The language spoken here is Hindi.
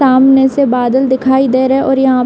सामने से बादल दिखाई दे रहे और यहाँ --